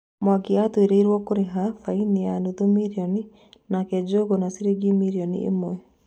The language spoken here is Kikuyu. Mwangi atuĩrĩirwo kũriha baĩni ya nuthu mirioni nake Njuguna ciringi mirioni ĩmwe.